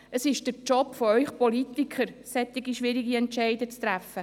Es ist der Job von euch Politikern, solch‘ schwierige Entscheidungen zu treffen.